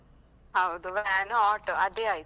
ಹೌದು van, auto ಅದೆ ಆಯ್ತು.